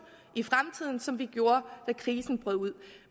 som vi gjorde da krisen brød ud